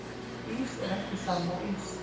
Ís er ekki sama og ís